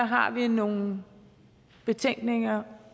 har vi nogle betænkeligheder